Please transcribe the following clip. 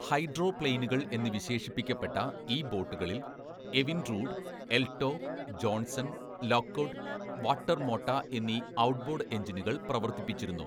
ഹൈഡ്രോപ്ലെയിനുകൾ എന്ന് വിശേഷിപ്പിക്കപ്പെട്ട ഈ ബോട്ടുകളിൽ Evinrude, Elto, Johnson, Lockwood, Watermota എന്നീ ഔട്ട്ബോർഡ് എഞ്ചിനുകൾ പ്രവർത്തിപ്പിച്ചിരുന്നു.